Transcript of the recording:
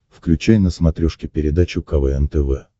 включай на смотрешке передачу квн тв